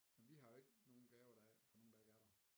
Vi har jo ikke nogen gaver der er fra nogen der ikke er der